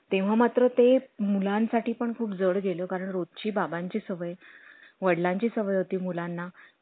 तरी महिन्याभरात होत असलं तर करून द्या कसं त्याला घरून बोलवत्यात रोज